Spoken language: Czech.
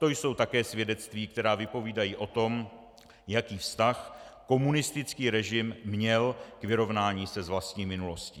To jsou také svědectví, která vypovídají o tom, jaký vztah komunistický režim měl k vyrovnání se s vlastní minulostí.